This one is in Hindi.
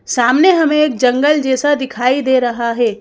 सामने हमें एक जंगल जैसा दिखाई दे रहा है।